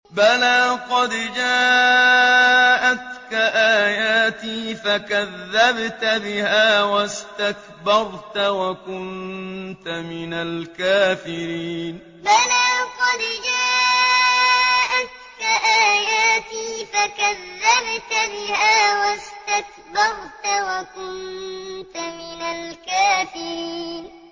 بَلَىٰ قَدْ جَاءَتْكَ آيَاتِي فَكَذَّبْتَ بِهَا وَاسْتَكْبَرْتَ وَكُنتَ مِنَ الْكَافِرِينَ بَلَىٰ قَدْ جَاءَتْكَ آيَاتِي فَكَذَّبْتَ بِهَا وَاسْتَكْبَرْتَ وَكُنتَ مِنَ الْكَافِرِينَ